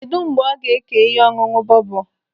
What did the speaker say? Kedụ mgbe ọ ga ékè ihe ọṅụṅụ bọbọ?